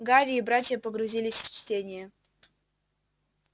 гарри и братья погрузились в чтение